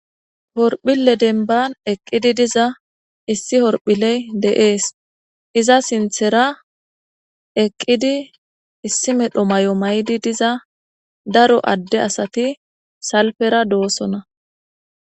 horphile denban eqqidi diza issi horphiley deees iza sinthera eqqidi issi medho may7o may7di diza daro adde asati salpera doosona